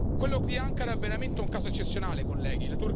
Quello di Ankara è veramente un caso eccezionale, colleghi.